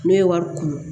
Ne ye wari kunun